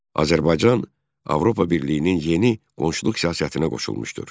Azərbaycan Avropa Birliyinin yeni qonşuluq siyasətinə qoşulmuşdur.